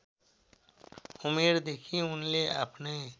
उमेरदेखि उनले आफ्नै